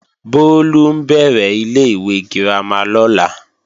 Bólú ń bẹ̀rẹ̀ ilé-ìwé girama lọ́la